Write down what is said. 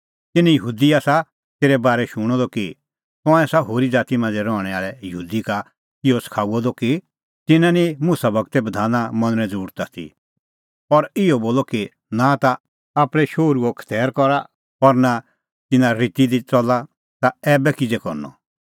तिन्नैं यहूदी आसा तेरै बारै शूणअ द कि तंऐं आसा होरी ज़ाती मांझ़ै रहणैं आल़ै यहूदी का इहअ सखाऊअ द कि तिन्नां निं मुसा गूरे बधाना मनणें ज़रुरत आथी और इहअ बोला कि नां ता आपणैं शोहरूओ खतैर करा और नां तिन्नां रिती दी च़ला ता ऐबै किज़ै करनअ